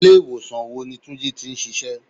Ilé ìwòsàn wo ni túnjí tí ń ṣíṣe?